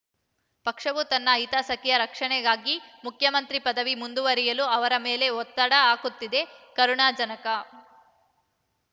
ಪಕ್ಷವು ತನ್ನ ಹಿತಾಸಕ್ತಿಯ ರಕ್ಷಣೆಗಾಗಿ ಮುಖ್ಯಮಂತ್ರಿ ಪದವಿಯಲ್ಲಿ ಮುಂದುವರಿಯಲು ಅವರ ಮೇಲೆ ಒತ್ತಡ ಹಾಕುತ್ತಿದೆ ಕರುಣಾಜನಕ